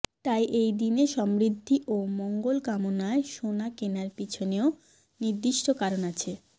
তাই এই দিনে সমৃদ্ধি ও মঙ্গল কামনায় সোনা কেনার পিছনেও নির্দিষ্ট কারণ আছে